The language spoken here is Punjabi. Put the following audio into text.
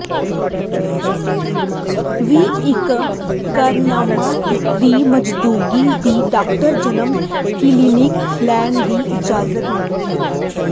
ਵੀ ਇੱਕ ਇਕਰਾਰਨਾਮਾ ਦੀ ਮੌਜੂਦਗੀ ਦੀ ਡਾਕਟਰ ਜਨਮ ਕਲੀਨਿਕ ਲੈਣ ਦੀ ਇਜਾਜ਼ਤ ਨਹੀ ਹੈ